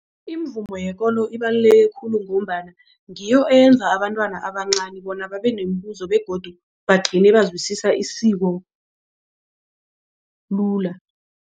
Imivumo yekolo ibaluleke khulu ngombana ngiyo eyenza abantwana abancani bona babe nemibuzo begodu bagcine bazwisisa isiko lula.